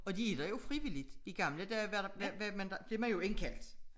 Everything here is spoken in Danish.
Og de er der jo frivilligt i gamle dage var blev man jo indkaldt